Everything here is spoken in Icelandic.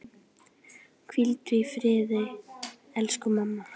Hvíldu í friði, elsku mamma.